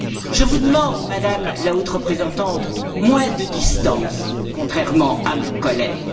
Je vous demande, Madame la Haute représentante, moins de distance, contrairement à mon collègue.